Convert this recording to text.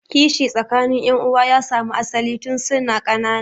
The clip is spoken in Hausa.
Kishi tsakanin yan'uwan ya samu asalin tun suna ƙanana.